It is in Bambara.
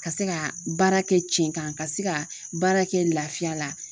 Ka se ka baara kɛ cɛn kan ka se ka baara kɛ laafiya la.